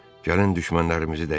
Gəlin düşmənlərimizi dəyişək.